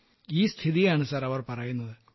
ഈ സ്ഥിതിയാണ് അവർ പറയുന്നത് സർ